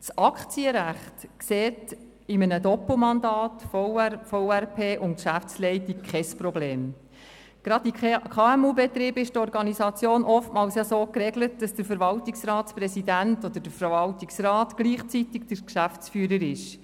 Gerade in kleineren und mittelgrossen Unternehmen (KMU) ist es oftmals so geregelt, dass der Verwaltungsratspräsident oder der Verwaltungsrat gleichzeitig der Geschäftsführer ist.